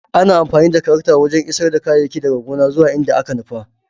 Ana amfani da tarakta wajen isar da kayayyaki daga gona zuwa inda aka nufa.